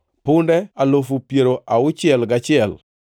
punde alufu piero auchiel gachiel (61,000),